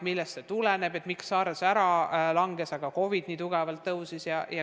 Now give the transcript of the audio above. Keegi ei tea, miks SARS hääbus, aga COVID nii tugevalt tõusnud on.